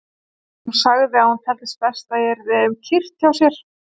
Hún sagði að hún teldi best að ég yrði um kyrrt hjá sér.